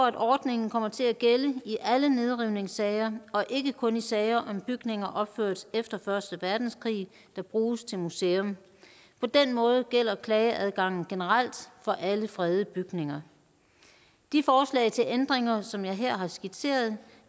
at ordningen kommer til at gælde i alle nedrivningssager og ikke kun i sager om bygninger opført efter første verdenskrig der bruges til museum på den måde gælder klageadgangen generelt for alle fredede bygninger de forslag til ændringer som jeg her har skitseret